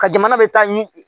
Ka jamana bɛ taa ɲi